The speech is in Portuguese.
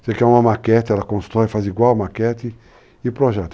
Você quer uma maquete, ela constrói, faz igual a maquete e o projeto.